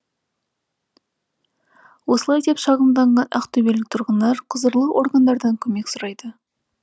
осылай деп шағымданған ақтөбелік тұрғындар құзырлы органдардан көмек сұрайды